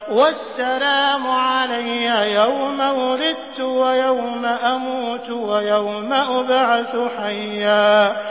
وَالسَّلَامُ عَلَيَّ يَوْمَ وُلِدتُّ وَيَوْمَ أَمُوتُ وَيَوْمَ أُبْعَثُ حَيًّا